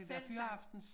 Fællessang